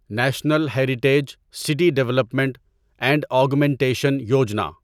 national heritage city development and augmentation Yojana